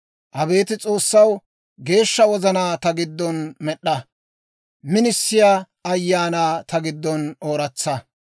Abeet S'oossaw, geeshsha wozanaa ta giddon med'd'a; minisiyaa ayaanaa ta giddon ooratsa.